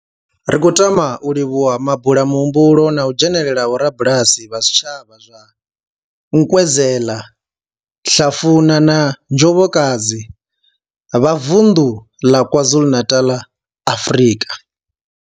Ri khou tama u livhuwa mabulamuhumbulo na u dzhenela ha vhorabulasi vha zwitshavha zwa Nkwezela, Hlafuna na Njobokazi vha vunḓu ḽa KwaZulu-Natal, Afrika.